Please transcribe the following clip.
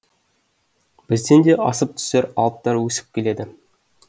бізден де асып түсер алыптар өсіп келеді